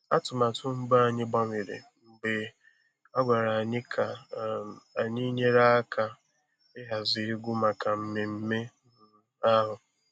Atụmatụ mbụ anyị gbanwere mgbe a gwara anyị ka um anyị nyere aka ịhazi egwu maka mmemme um ahụ